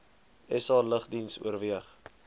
sa lugdiens oorweeg